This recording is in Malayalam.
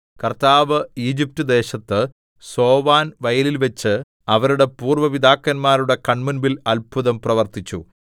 കർത്താവ് ഈജിപ്റ്റ് ദേശത്ത് സോവാൻ വയലിൽവച്ച് അവരുടെ പൂര്‍വ്വ പിതാക്കന്മാരുടെ കൺമുമ്പിൽ അത്ഭുതം പ്രവർത്തിച്ചു